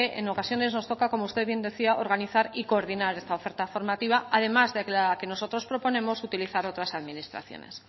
en ocasiones nos toca como usted bien decía organizar y coordinar esta oferta formativa además de la que nosotros proponemos utilizar otras administraciones